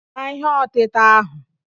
Taa ihe ọtịta ahụ!